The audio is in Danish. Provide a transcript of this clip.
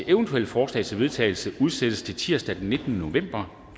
eventuelle forslag til vedtagelse udsættes til tirsdag den nittende november